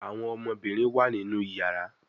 Àwọn ọmọbinrin wá nínú iyàrá.